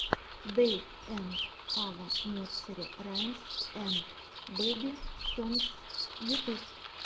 дэйв энд ава нерсери раймс энд бэби сонгс ютуб